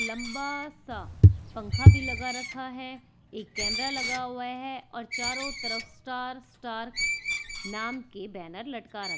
लंबा सा पंखा भी लगा रखा है एक कैमरा लगा हुआ है और चारों तरफ स्टार स्टार नाम के बैनर लटका रहा--